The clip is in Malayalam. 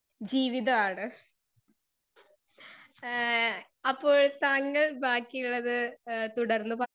സ്പീക്കർ 2 ജീവിതാണ് ഏഹ് അപ്പോൾ താങ്കൾ ബാക്കിയിള്ളത് എഹ് തുടർന്ന് പ